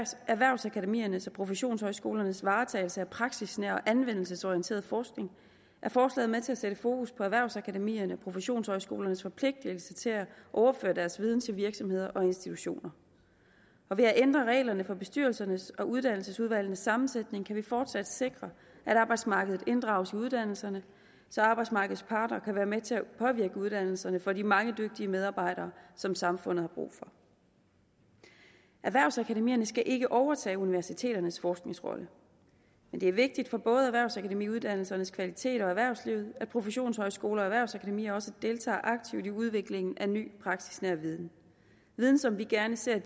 erhvervsakademiernes og professionshøjskolernes varetagelse af praksisnær og anvendelsesorienteret forskning er forslaget med til at sætte fokus på erhvervsakademierne og professionshøjskolernes forpligtelse til at overføre deres viden til virksomheder og institutioner og ved at ændre reglerne for bestyrelsernes og uddannelsesudvalgenes sammensætning kan vi fortsat sikre at arbejdsmarkedet inddrages i uddannelserne så arbejdsmarkedets parter kan være med til at påvirke uddannelserne for de mange dygtige medarbejdere som samfundet har brug for erhvervsakademierne skal ikke overtage universiteternes forskningsrolle men det er vigtigt for både erhvervsakademiuddannelsernes kvalitet og erhvervslivet at professionshøjskoler og erhvervsakademier også deltager aktivt i udviklingen af ny praksisnær viden viden som vi gerne ser